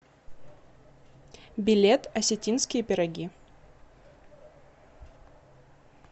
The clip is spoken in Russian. билет осетинские пироги